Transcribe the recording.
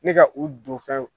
Ne ka u don fɛnw